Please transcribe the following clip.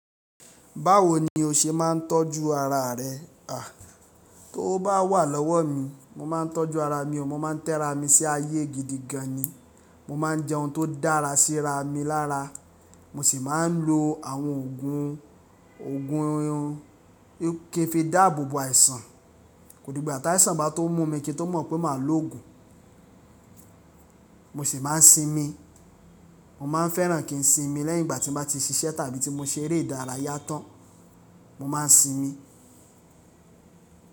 Báwo ni o ṣe máà ń tọ́jú ara rẹ? À, tówo bá wà lọ́wọ́ mi, mo máà ń tọ́jú ara o, mo ma ń tẹ́ra mi sí ayé gidi gan ni. Mo máa ń jẹun tó dára sí ra mi lára. Mo sì máa ń lo àwọn òògùn, òògùn un kí n fi dáàbò bo àìsàn. Kódìgbà tàìsàn bá tó mú mi kí n tó mọ̀ pé màá lòògùn. Mo sì máa ń sinmi. Mo máa ń fẹ́ràn kí n sinmi lẹ́yìn ìgbà tí n bá ti ṣiṣẹ́ àbí tí mo ṣe eré ìdárayá tán. Mo máa ń sinmi.